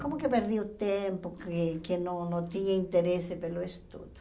Como que perdi o tempo que que não não tinha interesse pelo estudo?